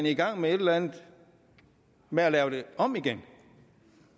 i gang med et eller andet med at lave det om igen